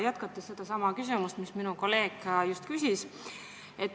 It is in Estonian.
Jätkan sedasama küsimust, mis minu kolleeg just küsis.